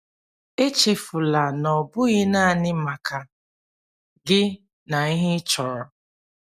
Echefula na ọ bụghị naanị maka gi na ihe ị chọrọ.